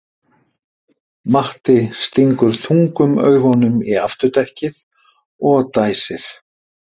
Matti stingur þungum augunum í afturdekkið og dæsir.